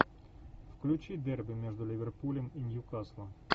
включи дерби между ливерпулем и ньюкаслом